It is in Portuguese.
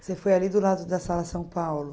Você foi ali do lado da sala São Paulo?